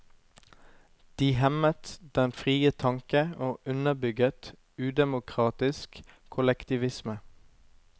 De hemmet den frie tanke og underbygget udemokratisk kollektivisme.